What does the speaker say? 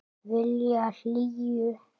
Vilja hlýju.